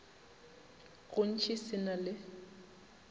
go ntši se na le